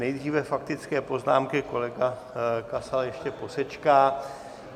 Nejdříve faktické poznámky, kolega Kasal ještě posečká.